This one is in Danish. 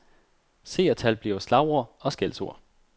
Seertal bliver slagord, og skældsord.